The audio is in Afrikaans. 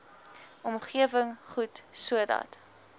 omgewing goed sodat